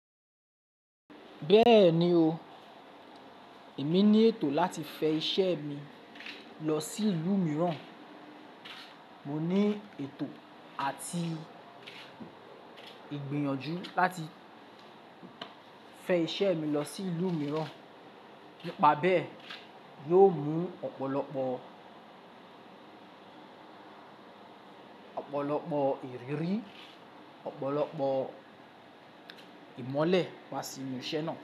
Bẹ́ẹ̀ni o, èmi ní ètò láti fẹ iṣẹ́ mi lọ sí ìlú mìíràn. Mo ní ètò àti ìgbìyànjú láti fẹ iṣẹ́ mi lọ sí ìlú mìíràn. Nipa bẹ́ yóò mú ọ̀pọ̀lọpọ̀, ọ̀pọ̀lọpọ̀ ìrírí, ọ̀pọ̀lọpọ̀ ìmọ́lẹ̀ wá sinu iṣẹ́ náà.